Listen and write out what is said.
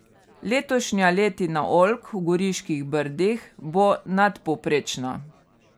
Letošnja letina oljk v Goriških brdih bo nadpovprečna.